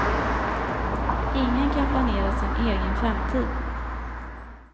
Ingen kan planera sin egen framtid.